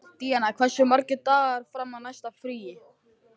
Díanna, hversu margir dagar fram að næsta fríi?